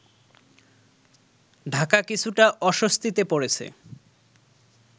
ঢাকা কিছুটা অস্বস্তিতে পড়েছে